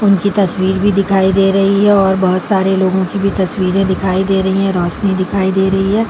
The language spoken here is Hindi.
उनकी तस्वीर भी दिखाई दे रही है और बहुत सारे लोगो की भी तस्वीरे दिखाई दे रही है। रोशनी दिखाई दे रही है।